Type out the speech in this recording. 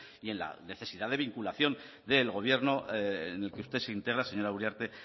y en la necesidad de vinculación del gobierno en el que usted se integra señora uriarte